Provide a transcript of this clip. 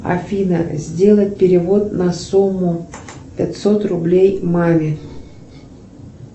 афина сделать перевод на сумму пятьсот рублей маме